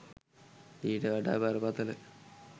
ඊට වඩා බරපතල